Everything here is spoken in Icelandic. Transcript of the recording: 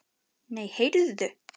Nei, heyrðu.